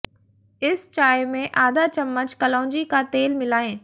इस चाय में आधा चम्मच कलौंजी का तेल मिलाएं